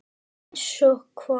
Einsog hvað?